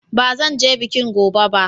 Ba zan je bikin gobe ba.